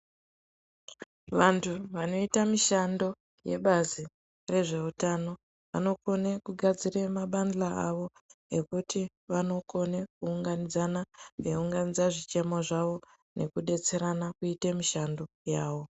Vantu vanoita mishando yebazi rezvehutano vanokone kugadzira mabandla awo ekuti vanokone kuunganidzana eiunganidza zvichemo zvawo nekudetserana kuite mishando yawo.